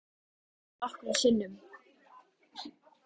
Já, hann minntist á það nokkrum sinnum